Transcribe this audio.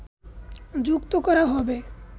যুক্ত করা হবে